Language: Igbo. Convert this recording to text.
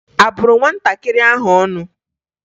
A bụrụ nwatakịrị ahụ ọnụ?